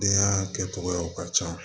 Denyaa kɛ cogoyaw ka can